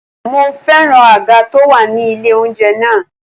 Mo féràn àga tó wà ní ilé oúnjẹ náà.